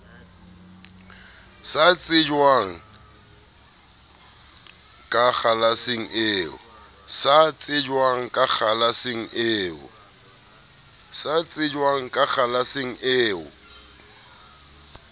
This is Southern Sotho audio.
sa tsejweng ka kgalaseng eo